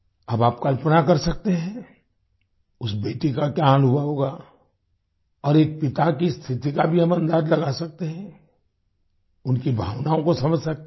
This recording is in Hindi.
अब आप कल्पना कर सकते हैं उस बेटी का क्या हाल हुआ होगा और एक पिता की स्थिति का भी हम अंदाज लगा सकते हैं उनकी भावनाओं को समझ सकते हैं